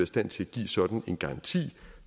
stand til at give sådan en garanti